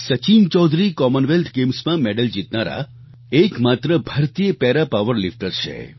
Sachin Chaudhary Commonwealth ગેમ્સમાં medal જીતનારા એકમાત્ર ભારતીય પારા પાવરલિફ્ટર છે